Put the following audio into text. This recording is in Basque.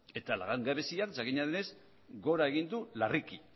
eta langabezia jakina denez gora egin du larriki